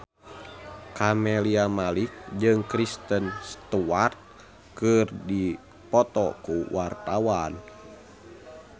Camelia Malik jeung Kristen Stewart keur dipoto ku wartawan